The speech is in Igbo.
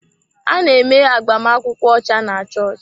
A na-eme agbamakwụkwọ ọcha na chọọchị.